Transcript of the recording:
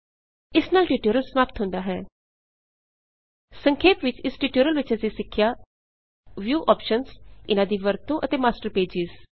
ਇਸ ਨਾਲ ਟਿਊਟੋਰਿਅਲ ਸਮਾਪਤ ਹੁੰਦਾ ਹੈ ਸਂਖੇਪ ਵਿੱਚ ਇਸ ਟਿਊਟੋਰਿਅਲ ਵਿੱਚ ਅਸੀ ਸਿੱਖਿਆ - ਵਿਉ ਔਪਸ਼ਨਜ਼ ਇਨ੍ਹਾ ਦੀ ਵਰਤੋਂ ਅਤੇ ਮਾਸਟਰ ਪੇਜਿਜ਼